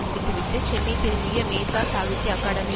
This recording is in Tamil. முடித்துவிட்டு சென்னை திரும்பிய மேத்தா சாகித்ய அகாடமி